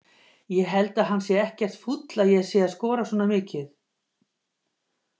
Ég held að hann sé ekkert fúll að ég sé að skora svona mikið.